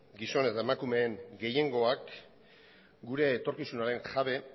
gizon eta emakumeen gehiengoak gure etorkizunaren jabe